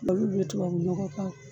Olu be tubabu nɔgɔ k'a